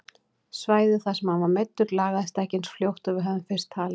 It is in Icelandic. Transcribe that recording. Svæðið þar sem hann var meiddur lagaðist ekki eins fljótt og við höfðum fyrst talið.